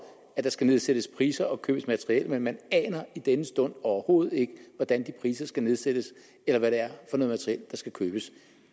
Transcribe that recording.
at der skal nedsættes priser og købes materiel men man aner i denne stund overhovedet ikke hvordan de priser skal nedsættes eller hvad det er for noget materiel der skal købes